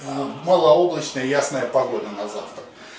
ну малооблачная и ясная погода на завтра